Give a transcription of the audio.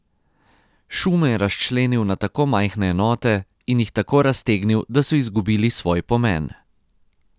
Šume je razčlenil na tako majhne enote in jih tako raztegnil, da so izgubili svoj pomen.